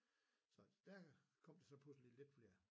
Så der kom der så pludseligt lidt flere